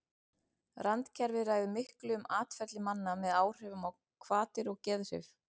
randkerfið ræður miklu um atferli manna með áhrifum á hvatir og geðhrif